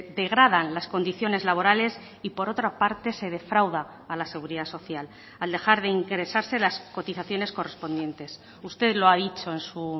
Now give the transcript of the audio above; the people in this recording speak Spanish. degradan las condiciones laborales y por otra parte se defrauda a la seguridad social al dejar de ingresarse las cotizaciones correspondientes usted lo ha dicho en su